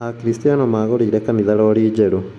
Akristiano magũrĩire kanitha rori njerũ